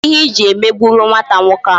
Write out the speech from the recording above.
Kedu ihe iji emegburu nwata nwoke ahụ?